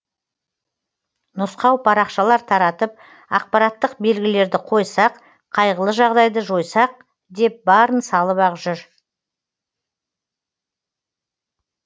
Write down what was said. нұсқау парақшалар таратып ақпараттық белгілерді қойсақ қайғылы жағдайды жойсақ деп барын салып ақ жүр